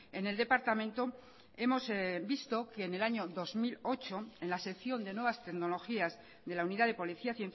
en el departamento hemos visto que en el año dos mil ocho en la sección de nuevas tecnologías de la unidad de policía